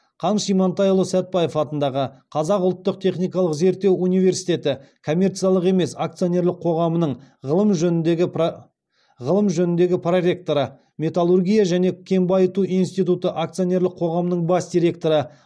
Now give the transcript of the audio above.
қаныш имантайұлы сәтбаев атындағы қазақ ұлттық техникалық зерттеу университеті коммерциялық емес акционерлік қоғамының ғылым жөніндегі проректоры металлургия және кен байыту институты акционерлік қоғамының бас директоры